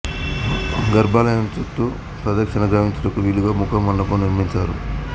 గర్భాలయం చుటూ ప్రదక్షిణ గావించుటకు వీలుగా ముఖ మండపం నిర్మించారు